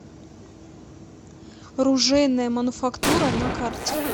ружейная мануфактура на карте